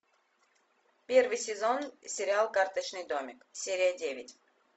первый сезон сериал карточный домик серия девять